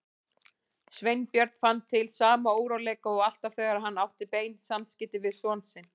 Sveinbjörn fann til sama óróleika og alltaf þegar hann átti bein samskipti við son sinn.